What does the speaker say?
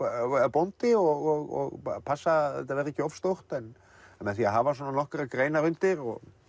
bóndi og passa að þetta verði ekki of stórt en með því að hafa nokkrar greinar undir og